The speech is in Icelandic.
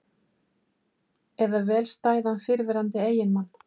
Eða vel stæðan fyrrverandi eiginmann?